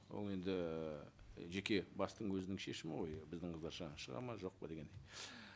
ол енді жеке бастың өзінің шешімі ғой біздің қыздар шығады ма жоқ па дегендей